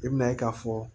I bɛna ye k'a fɔ